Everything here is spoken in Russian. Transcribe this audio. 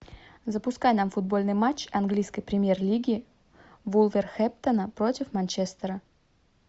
запускай нам футбольный матч английской премьер лиги вулверхэмптона против манчестера